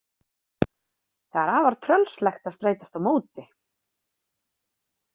Það er afar tröllslegt að streitast á móti.